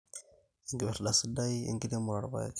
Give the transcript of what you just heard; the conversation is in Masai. Enkipirrta sidai enkirremore oorpaek